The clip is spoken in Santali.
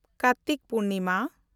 ᱠᱟᱨᱛᱤᱠ ᱯᱩᱨᱱᱤᱢᱟ